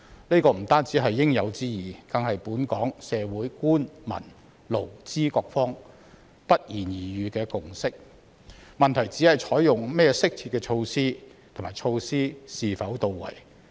這不單是應有之義，更是本港社會官、民、勞、資各方不言而喻的共識，問題是採用甚麼適切的措施和措施是否到位。